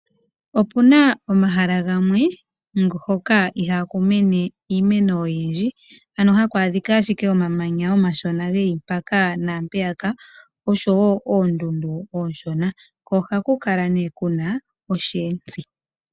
Opuna omahala gamwe hoka ihaku mene iimeno oyindji ano haku adhika ashike omamanya omashona geli mpaka naampeyaka osho wo oondundu ooshona, ko ohaku kala ne kuna osheetsi.